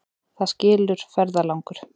Það skilur ferðalangur.